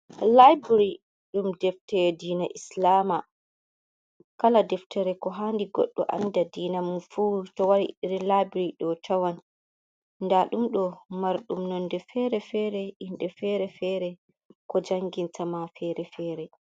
Laibary dum deftere diina islama kala deftere ko hani goɗdo anda dina mun fu to wari iri library do tawan da dumdo mar dum nonde fere-fere inde fere-fere ko janginta ma fere-fere.